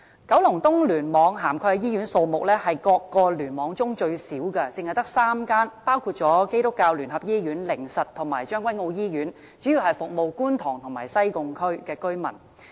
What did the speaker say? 九龍東聯網涵蓋的醫院數目是各聯網中最少的，只有3間，包括基督教聯合醫院、靈實醫院和將軍澳醫院，主要服務觀塘及西貢區的居民。